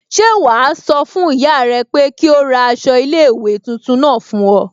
Ṣẹ́ wàá sọ fún ìyá rẹ pé kí ó ra aṣọ iléèwé tuntun náà fún ọ